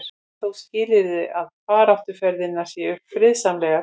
það er þó skilyrði að baráttuaðferðirnar séu friðsamlegar